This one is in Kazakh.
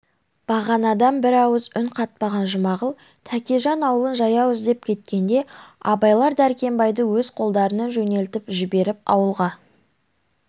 бағанадан бір ауыз үн қатпаған жұмағұл тәкежан аулын жаяу іздеп кеткенде абайлар дәркембайды өз қолдарынан жөнелтіп жіберіп ауылға